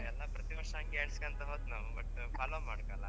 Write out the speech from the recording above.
ಎಲ್ಲ ಪ್ರತಿ ವರ್ಷ ಹಂಗೆ ಎನ್ಸ್ಕಂತ ಹೊತ್ತ್ ನಾವು but follow ಮಾಡ್ಕಲ್ಲ.